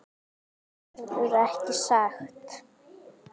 Verður ekki sagt.